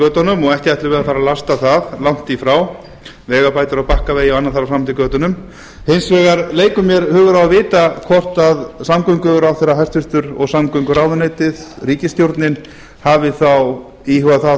götunum ekki ætlum við að fara að lasta það langt í frá vegabætur á bakkavegi og annað þar fram eftir götunum hins vegar leikur mér hugur á að vita hvort samgönguráðherra hæstvirtur og samgönguráðuneytið ríkisstjórnin hafi þá íhugað það